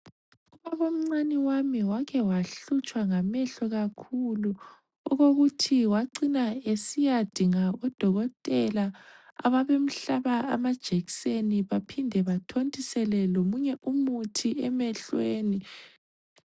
Ubabomncane wami wake wahlutshwa ngamehlo kakhulu okokuthi wacina esiyadinga odokotela ababemhlaba amajekiseni baphinde bathontisele lomunye umuthi emhlweni.